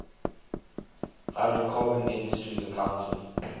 hydrocarbon industries accounted